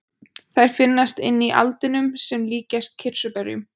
þær finnast inni í aldinum sem líkjast kirsuberjum